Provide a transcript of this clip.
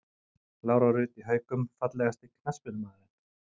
Lára Rut í Haukum Fallegasti knattspyrnumaðurinn?